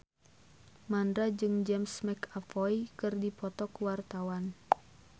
Mandra jeung James McAvoy keur dipoto ku wartawan